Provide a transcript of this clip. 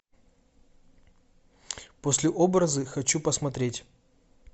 послеобразы хочу посмотреть